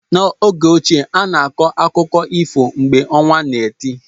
N'oge ochie, a na-akọ akụkọ ifo mgbe ọnwa na eti.